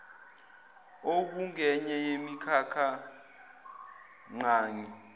okungenye yemikhakha ngqangi